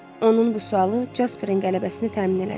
Onun bu sualı Jasperin qələbəsini təmin elədi.